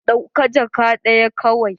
Ɗauka jakka daya kawai.